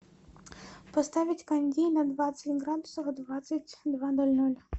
поставить кондей на двадцать градусов в двадцать два ноль ноль